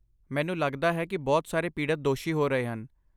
ਮੈਨੂੰ ਲੱਗਦਾ ਹੈ ਕਿ ਬਹੁਤ ਸਾਰੇ ਪੀੜਤ ਦੋਸ਼ੀ ਹੋ ਰਹੇ ਹਨ